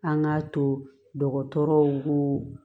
An k'a to dɔgɔtɔrɔw ko